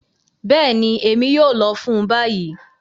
Bẹẹni, Emi yoo lọ fun bayi.